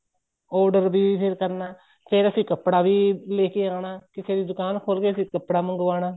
order ਵੀ ਫ਼ੇਰ ਕਰਨਾ ਫ਼ੇਰ ਅਸੀਂ ਕੱਪੜਾ ਵੀ ਲੈਕੇ ਆਨਾ ਕਿਸੇ ਦੀ ਦੁਕਾਨ ਖੋਲ ਕੇ ਅਸੀਂ ਕੱਪੜਾ ਮੰਗਵਾਉਣਾ